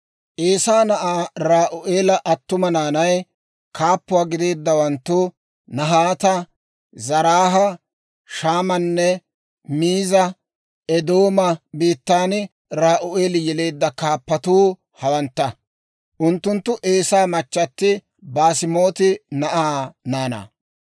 Eesaa na'aa Ra'u'eela attuma naanay, kaappuwaa gideeddawanttu Nahaata, Zaraaha, Shammanne Miizaa; Eedooma biittan Ra'u'eeli yeleedda kaappatuu hawantta; unttunttu Eesaa machchatti Baasemaati na'aa naanaa.